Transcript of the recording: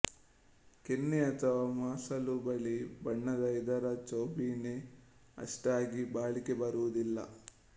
ಕೆನೆ ಅಥವಾ ಮಾಸಲು ಬಿಳಿ ಬಣ್ಣದ ಇದರ ಚೌಬೀನೆ ಅಷ್ಟಾಗಿ ಬಾಳಿಕೆ ಬರುವುದಿಲ್ಲ